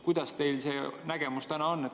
Kuidas teil see nägemus on?